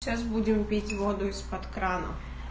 сейчас будем пить воду из-под крана